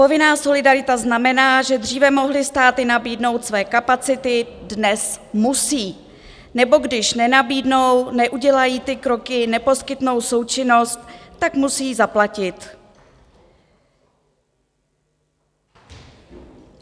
Povinná solidarita znamená, že dříve mohly státy nabídnout své kapacity, dnes musí, nebo když nenabídnou, neudělají ty kroky, neposkytnou součinnost, tak musí zaplatit.